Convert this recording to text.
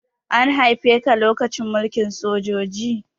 An haife ka lokacin mulkin sojoji?